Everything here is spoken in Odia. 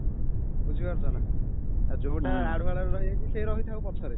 ବୁଝିପାରୁଛ ନା ଯୋଉଟା ଆଢୁଆଳରେ ରହିଯାଇଛି ସେ ରହିଥାଉ ପଛରେ